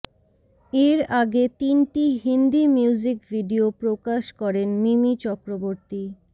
এর আগে তিনটি হিন্দি মিউজিক ভিডিও প্রকাশ করেন মিমি চক্রবর্তী